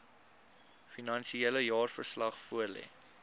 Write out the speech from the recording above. finansiële jaarverslag voorlê